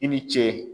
I ni ce